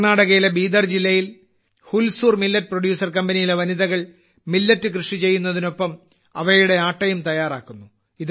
കർണ്ണാടകയിലെ ബീദർ ജില്ലയിൽ Hulsoor millet producer കമ്പനിയിലെ വനിതകൾ മില്ലറ്റ് കൃഷി ചെയ്യുന്നതിനൊപ്പം അവയുടെ ആട്ടയും തയ്യാറാക്കുന്നു